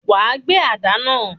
Wàá gbé àdá náà.